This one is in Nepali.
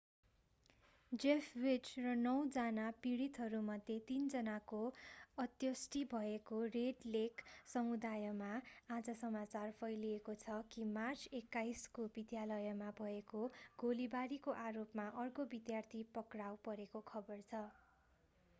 जेफ वीज र नौजना पीडितहरूमध्ये तीन जनाको अन्त्येष्टि भएको रेड लेक समुदायमा आज समाचार फैलिएको छ कि मार्च 21 को विद्यालयमा भएको गोलीबारी को आरोपमा अर्को विद्यार्थी पक्राउ परेको खबर छ